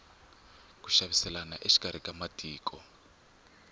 ku xaviselana exikarhi ka matiko